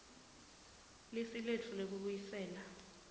lisu letfu lekubuyisela